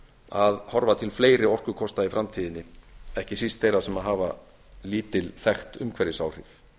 að horfa til fleiri orkukosta í framtíðinni ekki síst þeirra sem hafa lítil þekkt umhverfisáhrif